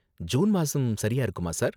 June மாசம் சரியா இருக்குமா, சார்?